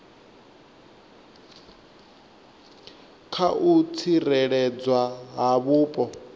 kha u tsireledzwa ha vhupo